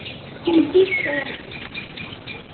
Hún dýrkaði hann.